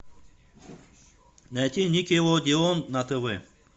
найти никелодеон на тв